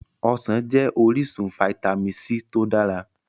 Ọsàn jẹ́ orísun Fitamin c tó dáa.